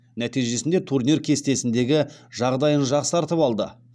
нәтижесінде турнир кестесіндегі жағдайын жақсартып алды